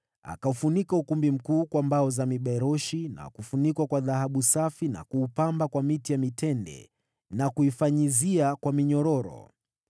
Akaufunika ukumbi mkuu kwa mbao za miberoshi na kufunikwa kwa dhahabu safi na kuupamba kwa miti ya mitende na kuifanyizia kwa minyororo.